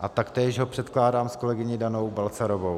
a taktéž ho předkládám s kolegyní Danou Balcarovou.